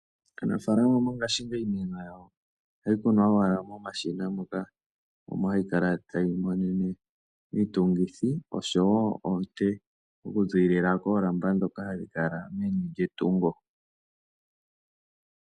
Aanafalama mongashingeyi iimeno yawo ohayi kunwa owala momashina moka. Omo hayi kala tayi monene iitungithi oshowo oonte oku ziilila koolamba dhoka hadhi kala meni lyetungo.